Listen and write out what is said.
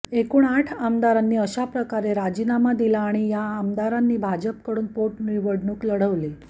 एकूण आठ आमदारांनी अशाप्रकारे राजीनामा दिला आणि या आमदारांनी भाजपकडून पोटनिवडणूक लढवली